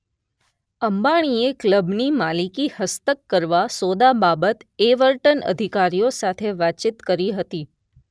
અંબાણીએ ક્લબની માલિકી હસ્તક કરવા સોદા બાબત એવર્ટન અધિકારીઓ સાથે વાતચીત કરી હતી.